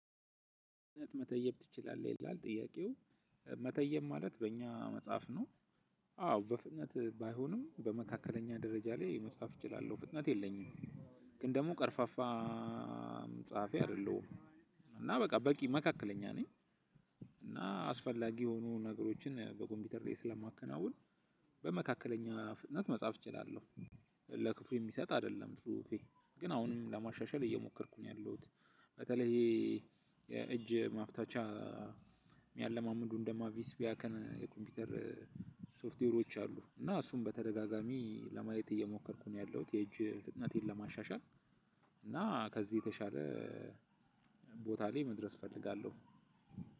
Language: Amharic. መተየብ ትችላለህ ይላል ጥያቄው መተየብ ማለት በእኛ መጻፍ ነው። አዎ በፍነት ባይሆንም በመካከለኛ ደረጃ ላይ መጻፍ እችላለሁ ፍጥነት የለኝም። ግን ደግሞ ቀርፋፋ አይደለሁም። እና በቃ በቂ መካከለኛ ነኝ። እና አስፈላጊ የሆኑ ነገሮችን በኮምፒውተሬ ስለማከናውን በመካከለኛ ፍጥነት መጻፍ እችላለሁ። ለክፉ የሚሰጥ አይደለም ጽሁፌ ግን አሁንም ለማሻሻል እየሞከርኩ ነው ያለሁት። በተለይ ይሄ። የእጅ ማፍታቻ የሚያለማምዱን እንደ ማቪስ ቢያከን የኮምፒውተር ሶፍትዌሮች አሉ። እና እሱን በተደጋጋሚ ለማየት እየሞከርኩ ነው ያለሁት የእጅ ፍጥነቴን ለማሻሻል። እና ከዚህ የተሻለ ቦታ ላይ መድረስ እፈልጋለሁ።